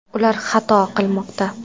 Ular xato qilmoqda!